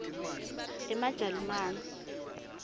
emajalimane